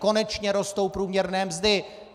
Konečně rostou průměrné mzdy.